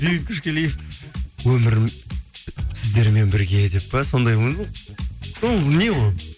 бейбіт көшқалиев өмірім сіздермен бірге деп пе сондай ма ол не ол